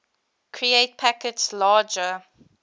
create packets larger